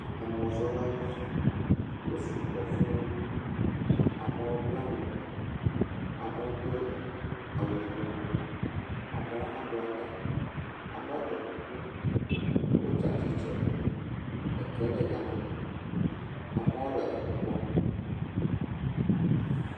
Emɔzɔlawo. Wo sɔgbɔ fuu. Amewo bla nu, amewo do awu yibɔ. Amewo hã nɔ la ta, amewo ɖɔe kuku. Woatsi tsitre. Ɖeviwo le gama, amewo le nukpɔm.